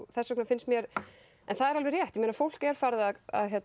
þessvegna finnst mér en það er alveg rétt fólk er farið að